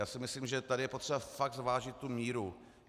Já si myslím, že tady je potřeba fakt zvážit tu míru.